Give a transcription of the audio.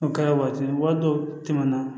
O ka waati dɔw tɛmɛna